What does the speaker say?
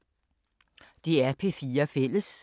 DR P4 Fælles